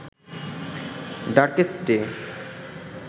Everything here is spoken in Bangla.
darkest day